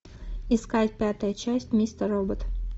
искать пятая часть мистер робот